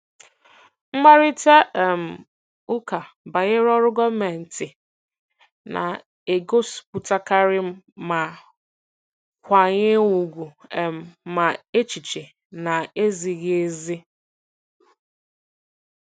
Mkparịta um ụka banyere ọrụ gọọmentị na-egosipụtakarị ma nkwanye ùgwù um ma echiche na-ezighị ezi.